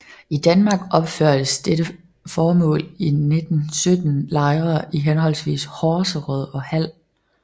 I Danmark opførtes til dette formål i 1917 lejre i henholdsvis Horserød og Hald